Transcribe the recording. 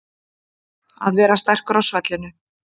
Að vera sterkur á svellinu